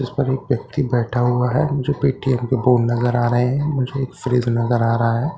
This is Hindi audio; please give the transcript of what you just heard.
इस पर एक व्यक्ति बैठा हुआ है जो पेटीएम के बोर्ड नजर आ रहे हैं मुझे एक फ्रिज नजर आ रहा है।